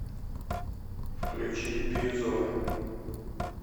включи бирюзовая